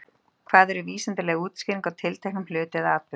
Hvað er vísindaleg útskýring á tilteknum hlut eða atburði?